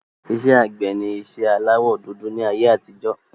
Iṣẹ́ àgbẹ̀ ni iṣẹ́ aláwọ dúdú ni ayé àtijọ́